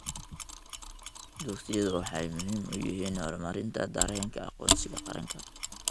Dugsiyadu waxay muhiim u yihiin horumarinta dareenka aqoonsiga qaranka.